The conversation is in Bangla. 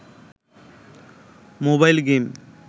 mobile game